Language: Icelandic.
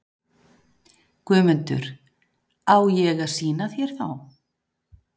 GUÐMUNDUR: Á ég að sýna þér þá?